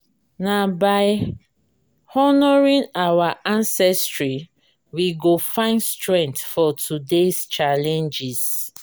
na by honoring our ancestry we go find strength for today’s challenges.